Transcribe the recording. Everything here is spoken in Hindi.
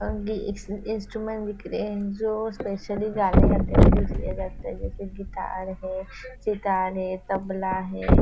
और गी इन इंस्ट्रूमेंट बिक रहे है जो स्पेशली गाने गाते हुए जो गिटार है सितार है तबला है।